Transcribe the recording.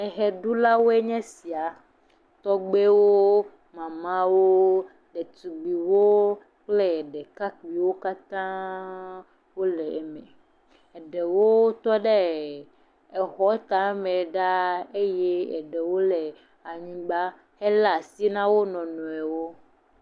Eɣe ɖulawo nye esia. Tɔgbuiwo, mawo, ɖetugbuiwo kple ɖekakpuiwo katã wòle eme. Ɖewo tɔ ɖe exɔ tame fãa eye eɖewo le anyigba he le asi ná wo nɔnɔewo.